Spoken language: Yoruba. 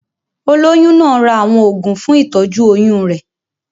Olóyún náà ra àwọn oògùn fún ìtọ́jú oyún rẹ̀.